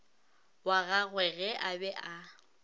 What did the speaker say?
wa gagwege a be a